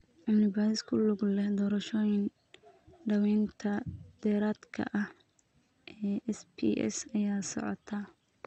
Cilmi-baadhis ku lug leh doorashooyin daawaynta dheeraadka ah ee SPS ayaa socota.